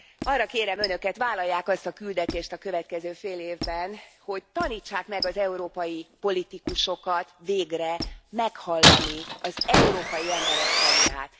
Arra kérem Önöket, vállalják azt a küldetést a következő fél évben, hogy tanítsák meg az európai politikusokat végre meghallani az európai emberek hangját.